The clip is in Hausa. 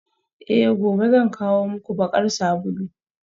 Eh gobe zan kawo muku bakar sabulu